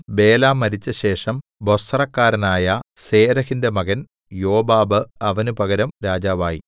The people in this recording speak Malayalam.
ബേല മരിച്ചശേഷം ബൊസ്രക്കാരനായ സേരെഹിന്റെ മകൻ യോബാബ് അവന് പകരം രാജാവായി